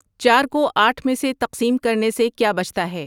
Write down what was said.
چار کو آٹھ میں سے تقسیم کرنے سے کیا بچتا ہے